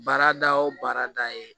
Baarada o baarada ye